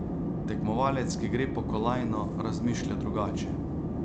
Tekmovalec, ki gre po kolajno, razmišlja drugače.